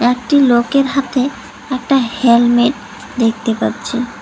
একটি লোকের হাতে একটা হেলমেট দেখতে পাচ্ছি।